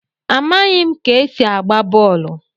Amaghim ka esi agba bọọlụ.